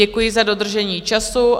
Děkuji za dodržení času.